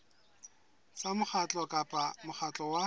tsa mokgatlo kapa mokgatlo wa